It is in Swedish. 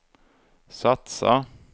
satsa